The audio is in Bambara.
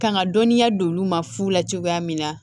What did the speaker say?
Kan ka dɔnniya don olu ma fu la cogoya min na